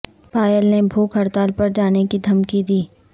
pile نے بھوک ہڑتال پر جانے کی دھمکی دی